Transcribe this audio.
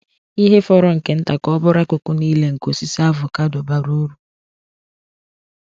Ihe fọrọ nke nta ka ọ bụrụ akụkụ niile nke osisi avocado bara uru.